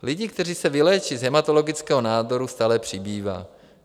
Lidí, kteří se vyléčí z hematologického nádoru, stále přibývá.